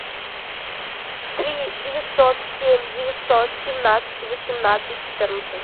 три девятьсот семь девятьсот семнадцать восемнадцать четырнадцать